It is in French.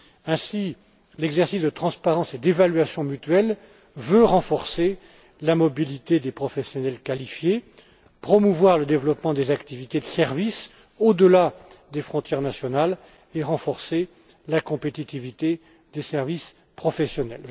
Ainsi, l'exercice de transparence et d'évaluation mutuelle vise à renforcer la mobilité des professionnels qualifiés, à promouvoir le développement des activités de service au delà des frontières nationales et à renforcer la compétitivité des services professionnels.